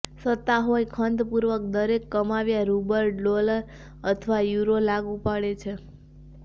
સત્તા હોઈ ખંતપૂર્વક દરેક કમાવ્યા રૂબલ ડોલર અથવા યુરો લાગુ પડે છે